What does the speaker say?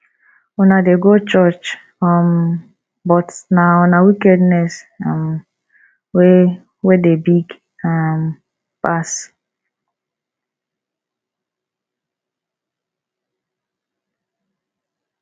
una dey go church um but na una wickedness um wey wey dey big um pass